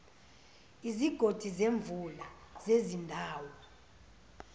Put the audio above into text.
izigodi zemvula zezindawo